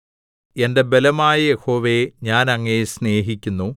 എന്റെ ബലമായ യഹോവേ ഞാൻ അങ്ങയെ സ്നേഹിക്കുന്നു